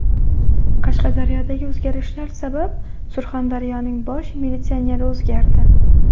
Qashqadaryodagi o‘zgarishlar sabab, Surxondaryoning bosh militsioneri o‘zgardi.